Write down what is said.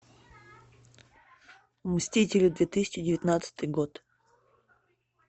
мстители две тысячи девятнадцатый год